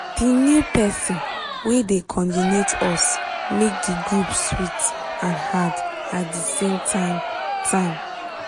di new pesin wey dey cordinate us make di group sweet and hard at di same time time